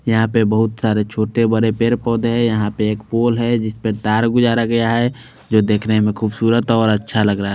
यहाँ पे बहुत सारे छोटे बड़े पेड़ पौधे है यहाँ पे एक पोल है जिसपे तार गुजारा गया है जो देखने मे खूबसूरत और अच्छा लग रह है।